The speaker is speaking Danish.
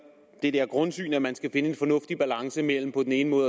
det grundsyn at man skal finde en fornuftig balance mellem på den ene